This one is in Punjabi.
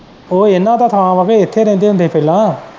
ਉਹ ਇਹਨਾਂ ਦਾ ਥਾ ਵਾ ਕੇ ਇਥੇ ਰਹਿੰਦੇ ਹੁੰਦੇ ਹੀ ਪਹਿਲਾਂ।